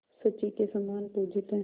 शची के समान पूजित हैं